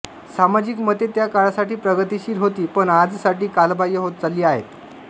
सामाजिक मते त्या काळासाठी प्रगतिशील होती पण आजसाठी कालबाह्य होत चालली आहेत